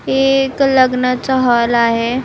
हे एक लग्नाचा हॉल आहे.